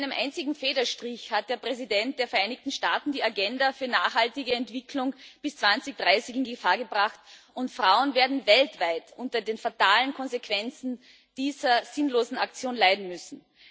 Mit einem einzigen Federstrich hat der Präsident der Vereinigten Staaten die Agenda für nachhaltige Entwicklung bis 2030 in Gefahr gebracht, und Frauen werden weltweit unter den fatalen Konsequenzen dieser sinnlosen Aktion leiden müssen.